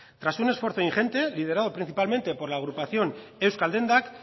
tras un esfuerzo ingente liderado principalmente por la agrupación euskal dendak